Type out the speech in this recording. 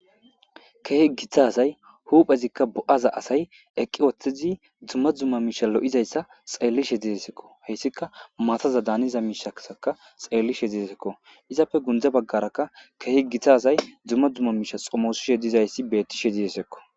Keehi gitazay huphezikka bo7aza asay eqqi wooththezi dzumma dzumma miisha lo7izayssa xeellishe didesekko heyssika maataza daaniza miishaaka xeellishe diesekko izapfe gundza baggarakka keehi gittazay dzumma dzumma miisha xomoosishe dizayssi beettishe didesekko.